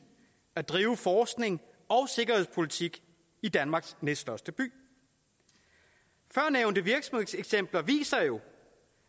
at drive forskning og sikkerhedspolitik i danmarks næststørste by førnævnte virksomhedseksempler viser jo